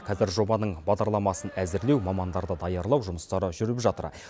қазір жобаның бағдарламасын әзірлеу мамандарды даярлау жұмыстары жүріп жатыр